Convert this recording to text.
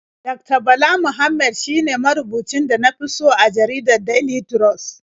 Dakta Bala Muhammad shine marubucin da na fi so a jaridar Daily Trust.